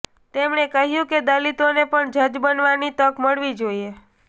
તેમણે કહ્યું કે દલિતોને પણ જજ બનવાની તક મળવી જોઈએ